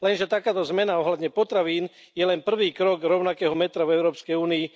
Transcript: Lenže takáto zmena ohľadne potravín je len prvý krok rovnakého metra v Európskej únii.